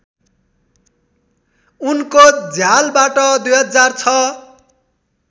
उनको झयालबाट २००६